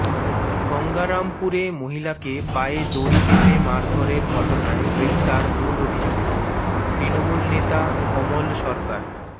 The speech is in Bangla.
গঙ্গারামপুরে মহিলাকে পায়ে দড়ি বেঁধে মারধরের ঘটনায় গ্রেফতার মূল অভিযুক্ত তৃণমূল নেতা অমল সরকার